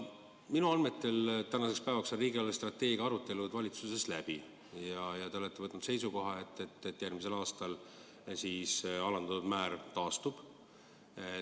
Minu andmetel on tänaseks päevaks riigi eelarvestrateegia arutelud valitsuses läbi ja te olete võtnud seisukoha, et järgmisel aastal määr taastub.